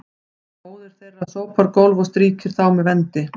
móðir þeirra sópar gólf og strýkir þá með vendi